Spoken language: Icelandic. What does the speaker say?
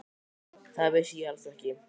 Það vissi ég alls ekki.